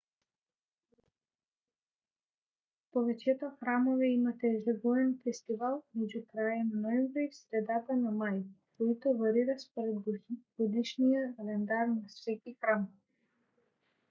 повечето храмове имат ежегоден фестивал между края на ноември и средата на май който варира според годишния календар на всеки храм